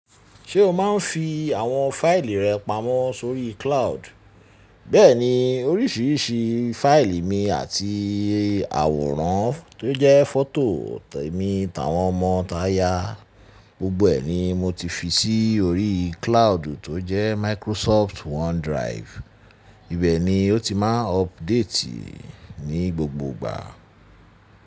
Ṣé o máa ń fi àwọn fáìlì rẹ pamọ́ sórí cloud? Bẹ́ẹ̀ni, oríṣiríṣi fáìlì mi àti àwòrán tó jẹ́ fọ́tò mi tàwọn ọmọ táyà, gbogbo ẹ̀ ni mo ti fi sí orí cloud tó jẹ́ Microsoft OneDrive. Ibẹ̀ ni ó ti máa ń update ní gbogbo ìgbà.